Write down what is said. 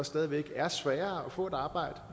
stadig væk er sværere at få et arbejde